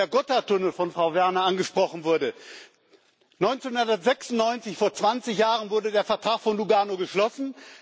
Und weil der Gotthardtunnel von Frau Werner angesprochen wurde 1996, vor 20 Jahren, wurde der Vertrag von Lugano geschlossen.